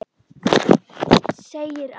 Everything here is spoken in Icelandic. segir að